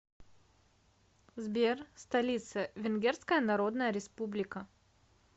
сбер столица венгерская народная республика